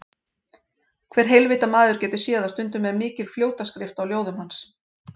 Hver heilvita maður getur séð að stundum er mikil fljótaskrift á ljóðum hans.